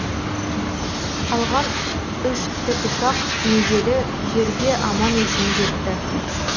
қалған үш тікұшақ межелі жерге аман есен жетті